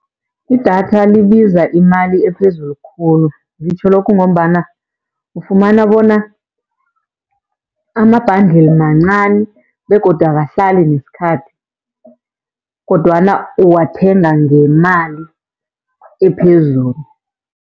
Idatha libiza imali ephezulu khulu. Ngitjho lokhu ngombana ufumana bona ama-bundle mancani begodu akahlali nesikhathi, kodwana uwathenga ngemali ephezulu.